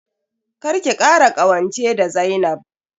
Kar ki kara ƙawance da Zainab.